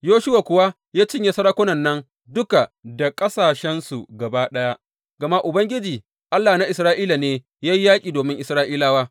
Yoshuwa kuwa ya cinye sarakunan nan duka da ƙasashensu gaba ɗaya gama Ubangiji, Allah na Isra’ila ne ya yi yaƙi domin Isra’ilawa.